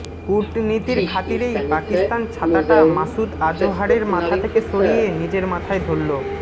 কূটনীতির খাতিরেই পাকিস্তান ছাতাটা মাসুদ আজহারের মাথা থেকে সরিয়ে নিজের মাথায় ধরল